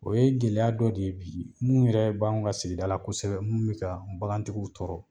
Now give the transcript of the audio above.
O ye gɛlɛya dɔ de ye bi mu yɛrɛ b'anw ka sigida kosɛbɛ mu bi ka bagantigiw tɔɔrɔ